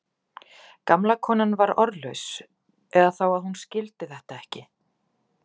Gamla konan var orðlaus eða þá að hún skildi þetta ekki.